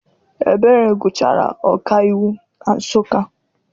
Ebere gụchara ọkaiwu na Nsụka.